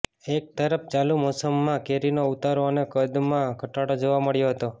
એક તરફ ચાલું મૌસમમાં કેરીનો ઉતારો અને કદમાં ઘટાડો જોવા મળ્યો હતો